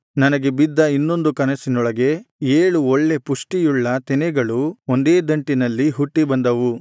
ನನಗೆ ಬಿದ್ದ ಇನ್ನೊಂದು ಕನಸಿನೊಳಗೆ ಏಳು ಒಳ್ಳೆ ಪುಷ್ಟಿಯುಳ್ಳ ತೆನೆಗಳು ಒಂದೇ ದಂಟಿನಲ್ಲಿ ಹುಟ್ಟಿ ಬಂದವು